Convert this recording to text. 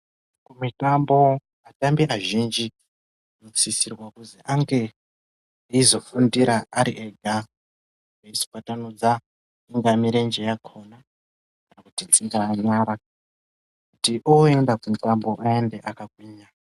Kumitambo atambi azhinji anosisirwa kuzi ange eizofundira ari ega eiswatanudza ingaa mirenje yakona kana kuti dzingaa nyara kuti oenda kumitambo aende akagwinya.